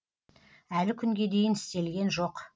әлі күнге дейін істелген жоқ